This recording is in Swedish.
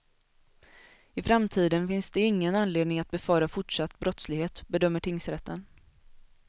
I framtiden finns det ingen anledning att befara fortsatt brottslighet, bedömer tingsrätten.